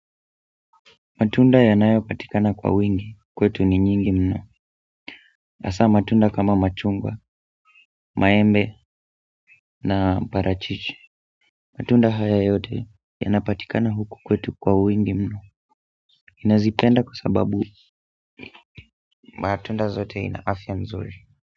Matunda yanayo patikana kwa wingi kwetu ni nyingi mno hasa matunda kama machungwa, maembe na parachichi matunda haya yote yanapatikana huku kwetu kwa wingi mno nazipenda kwa sababu matunda zote ina afimya nzuri.